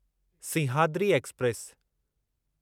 Simhadri express